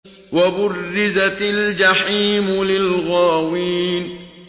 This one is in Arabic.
وَبُرِّزَتِ الْجَحِيمُ لِلْغَاوِينَ